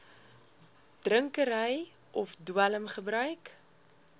drinkery of dwelmgebruik